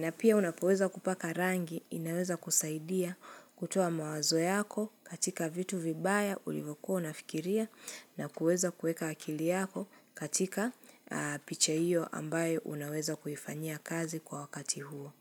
Na pia unapoweza kupaka rangi, inaweza kusaidia kutoa mawazo yako katika vitu vibaya ulivokuwa unafikiria na kuweza kuweka akili yako katika picha hiyo ambayo unaweza kuifanyia kazi kwa wakati huo.